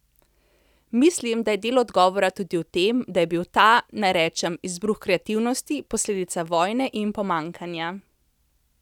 Mislim, da je del odgovora tudi v tem, da je bil ta, naj rečem, izbruh kreativnosti, posledica vojne in pomanjkanja.